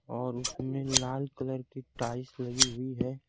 और उसमें लाल कलर की टाइस लगी हुई है।